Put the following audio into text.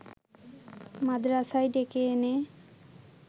মাদরাসায় ডেকে এনে